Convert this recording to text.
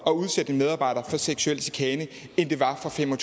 at udsætte en medarbejder for seksuel chikane end det var for fem og